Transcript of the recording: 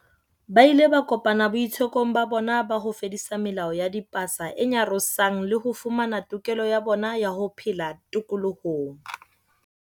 Ba ile ba kopana boitsekong ba bona ba ho fedisa melao ya dipasa e nyarosang le ho fumana tokelo ya bona ya ho phela tokolohong.